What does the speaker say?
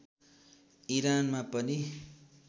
इरानमा पनि